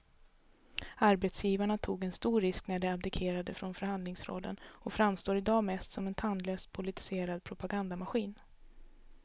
Arbetsgivarna tog en stor risk när de abdikerade från förhandlingsrollen och framstår i dag mest som en tandlös politiserad propagandamaskin.